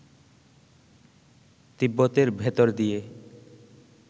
তিব্বতের ভেতর দিয়ে